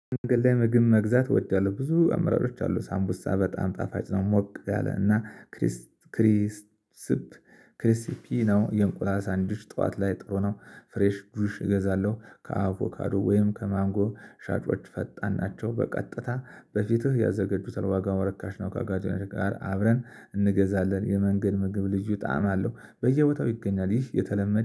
ምግብ መግዛት ወደላው ብዙ አምራጮች አሉ ሳምቡሳ በጣም ጣፋጭ ነው። ሞቅ ያለ እና ክሪስ ክሪስፕ ክሪስፒ ነው። የእንቁላል ሳንዲዊች ጠዋት ላይ ጥሩ ነው። ፍሬሽ ጁሽ እገዛለሁ። ከአቮካዶ ወይም ከማንጎ ሻጮች ፈጣን ናቸው። በቀጥታ በፊትህ ያዘገጁታል ዋጋው ርካሽ ነው። ከአጋጬ ጋር አብረን እንገዛለን። የመንገድ ምግብ ልዩ ጣዕም አለው። በየቦታው ይገኛል ይህ የተለመደ